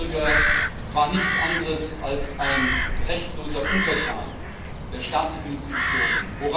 Der Bürger war nichts anderes als ein rechtloser Untertan der staatlichen Institutionen.